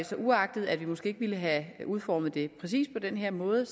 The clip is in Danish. så uagtet at vi måske ikke ville have udformet det præcis på den her måde